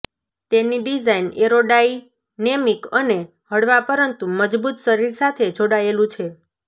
તેની design aerodynamic અને હળવા પરંતુ મજબૂત શરીર સાથે જોડાયેલું છે